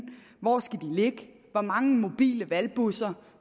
hvor de skal ligge hvor mange mobile valgbusser